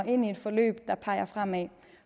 ind i et forløb der peger fremad